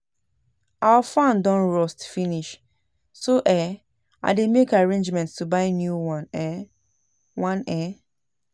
Our fan don rust finish so um I dey make arrangements to buy new um one um